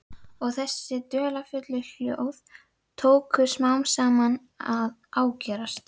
Og þessi dularfullu hljóð tóku smám saman að ágerast.